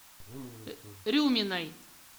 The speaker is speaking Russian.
рюминой